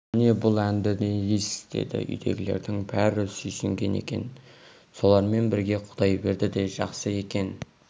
міне бұл әнді не дейсіз деді үйдегілердің бәрі сүйсінген екен солармен бірге құдайберді де жақсы екен